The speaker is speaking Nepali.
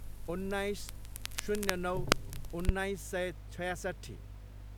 उन्नाइस, शून्य नौ, उन्नाइस सय छयासट्ठी